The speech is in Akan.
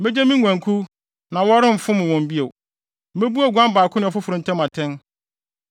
megye me nguankuw na wɔremfom wɔn bio. Mebu oguan baako ne ɔfoforo ntam atɛn.